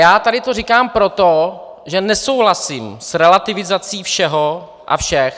Já tady to říkám proto, že nesouhlasím s relativizací všeho a všech.